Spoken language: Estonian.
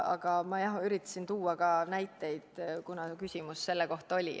Aga jah, ma üritasin tuua ka näiteid, kuna küsimus selle kohta oli.